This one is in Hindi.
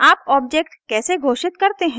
आप ऑब्जेक्ट कैसे घोषित करते हैं